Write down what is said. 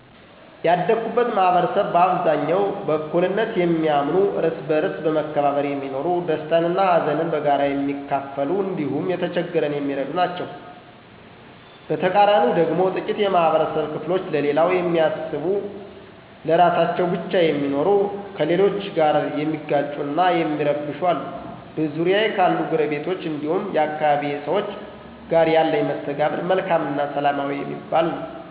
ያደኩበት ማህበረሰብ በአብዛኛው በእኩልነት የሚያምኑ፣ እርስ በእርስ በመከባበር የሚኖሩ፣ ደስታን እና ሀዘንን በጋራ የሚካፈሉ እንዲሁም የተቸገረን የሚረዱ ናቸዉ። በተቃራኒው ደግሞ ጥቂት የማህበረብ ክፍሎች ለሌላው የሚያስቡ ለራሳቸው ብቻ የሚኖሩ፣ ከሌሎች ጋር የሚጋጩ እና የሚረብሹ አሉ። በዙሪያዬ ካሉ ጐረቤቶች እንዲሁም የአካባቢዬ ሰዎች ጋር ያለኝ መስተጋብር መልካም እና ሰላማዊ የሚባል ነው።